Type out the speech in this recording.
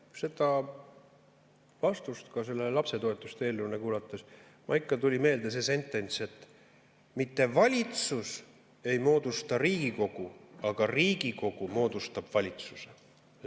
Nojah, seda vastust selle lapsetoetuste eelnõu kohta kuulates mul tuli meelde see sentents, et mitte valitsus ei moodusta Riigikogu, vaid Riigikogu moodustab valitsuse.